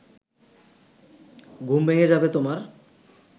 ঘুম ভেঙে যাবে তোমার